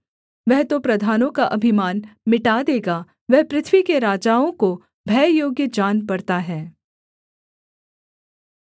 वह तो प्रधानों का अभिमान मिटा देगा वह पृथ्वी के राजाओं को भययोग्य जान पड़ता है